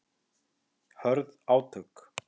Hörð átök